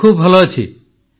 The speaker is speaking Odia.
ମୁଁ ଖୁବ୍ ଭଲ ଅଛି